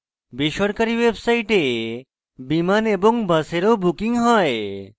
বেসরকারী websites বিমান এবং বাসের ও book হয়